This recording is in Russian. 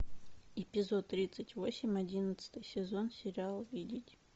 эпизод тридцать восемь одиннадцатый сезон сериал видеть